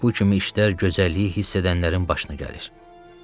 Bu kimi işlər gözəlliyi hiss edənlərin başına gəlir.